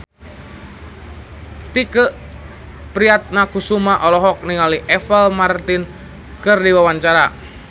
Tike Priatnakusuma olohok ningali Apple Martin keur diwawancara